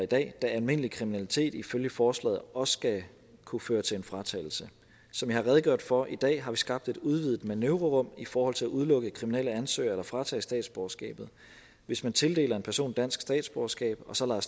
da almindelig kriminalitet ifølge forslaget også skal kunne føre til en fratagelse som jeg har redegjort for i dag har vi skabt et udvidet manøvrerum i forhold til at udelukke kriminelle ansøgere eller fratage statsborgerskabet hvis man tildeler en person dansk statsborgerskab og så lader